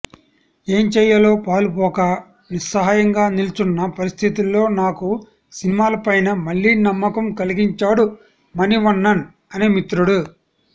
ఏం చేయాలో పాలుపోక నిస్సహాయంగా నిల్చున్న పరిస్థితుల్లో నాకు సినిమాలపైన మళ్లీ నమ్మకం కలిగించాడు మణివన్నన్ అనే మిత్రుడు